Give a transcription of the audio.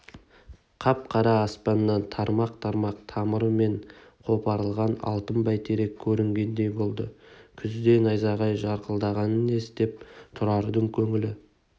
қап-қара аспаннан тармақ-тармақ тамырымен қопарылған алтын бәйтерек көрінгендей болды күзде найзағай жарқылдағаны несі деп тұрардың көңілі